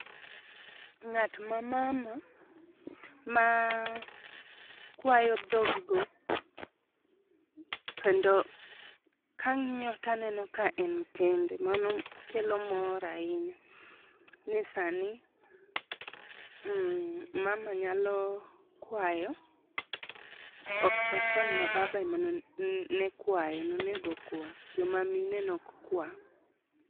Ng'at ma mama maa kwayo dhog go kendo kang'iyo taneno ka en kende mano kelo mor ahinya ni sani mama nyalo kwayo ok kachon ma baba ema kwayo emonego kwa jomamine nok kwa.